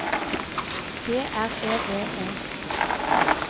G R E V E